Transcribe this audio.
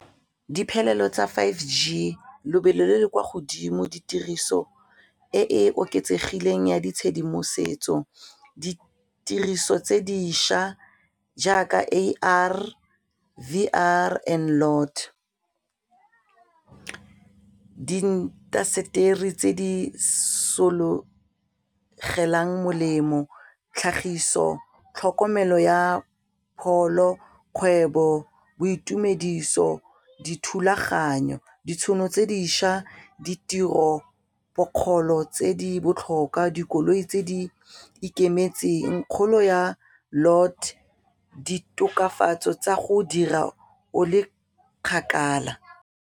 Diphelelo tsa five G lobelo le le kwa godimo ditiriso e e oketsegileng ya ditshedimosetso ditiriso tse dišwa jaaka A_R, V_R and , diintaseteri tse di sologelang molemo, tlhagiso, tlhokomelo ya pholo, kgwebo, boitumediso, dithulaganyo, ditšhono tse dišwa, ditiropokgolo tse di botlhokwa, dikoloi tse di ikemetseng, kgolo ya , di-tokafatso tsa go dira o le kgakala.